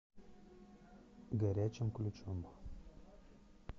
горячим ключом